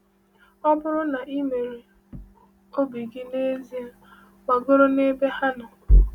Ọ bụrụ na i mere, obi gị n'ezie gbagoro n’ebe ha nọ.